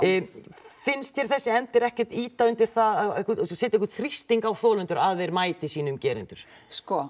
finnst þér þessi endir ekkert ýta undir það að setja einhvern þrýsting á þolendur að þeir mæti sínum gerendum sko